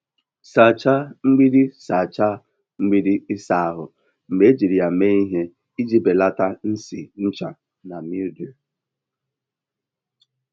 Sachaa mgbidi Sachaa mgbidi ịsa ahụ mgbe ejiri ya mee ihe iji belata nsị ncha na mildew.